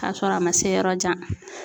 Kasɔrɔ a ma se yɔrɔ jan